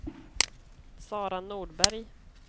Sara Nordberg